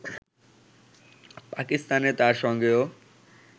পাকিস্তানে তার সঙ্গেও